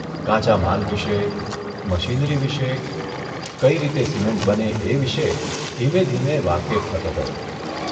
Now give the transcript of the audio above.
કાચા માલ વિશે, મશીનરી વિશે, કઇ રીતે સિમેન્ટ બને એ વિશે ધીમે ધીમે વાકેફ થતો ગયો.